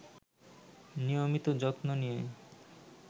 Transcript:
নিয়মিত যত্ন নিয়ে